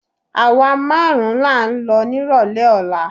Àwa márùn-ún là ń lọ nírọ̀lẹ́ ọ̀la